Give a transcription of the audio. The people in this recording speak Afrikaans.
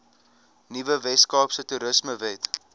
nuwe weskaapse toerismewet